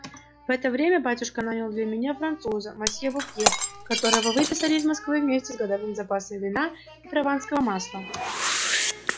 в это время батюшка нанял для меня француза мосье бопье которого выписали из москвы вместе с годовым запасом вина и прованского масла